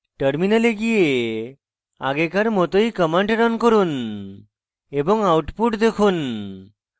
terminal গিয়ে আগেকার মতই command রান করুন এবং output দেখুন